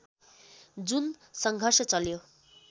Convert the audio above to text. जुन सङ्घर्ष चल्यो